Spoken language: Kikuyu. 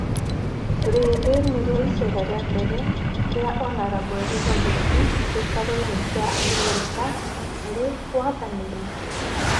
Rĩrĩ nĩrĩo iceera rĩa mbere rĩa Hon.Elizabeth gĩtarũ-inĩ kĩa Abirika arĩ wathani-inĩ